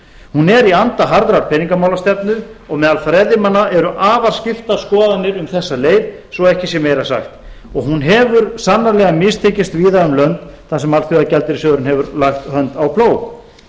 hún er í anda harðrar peningamálastefnu og meðal fræðimanna eru afar skiptar skoðanir um þessa leið svo ekki sé meira sagt hún hefur sannarlega mistekist víða um lönd þar sem alþjóðagjaldeyrissjóðurinn hefur lagt hönd á plóg